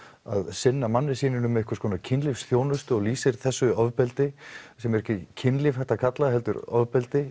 sinna manninum sínum kynlífsþjónustu og lýsir þessu ofbeldi sem er ekki kynlíf hægt að kalla heldur ofbeldi